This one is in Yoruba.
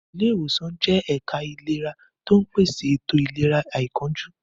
Ilé ìwòsàn jẹ́ ẹ̀ka ìlera tó ń pèsè ètò ìlera àìkánjú.